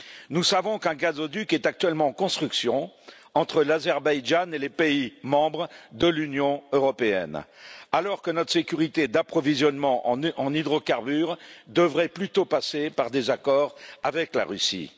Nous savons qu'un gazoduc est actuellement en construction entre l'Azerbaïdjan et les pays membres de l'Union européenne, alors que notre sécurité d'approvisionnement en hydrocarbures devrait plutôt passer par des accords avec la Russie.